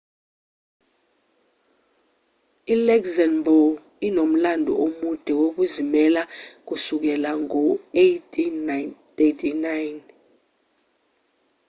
i-luxembourg inomlando omude wokuzimela kusukela ngo-1839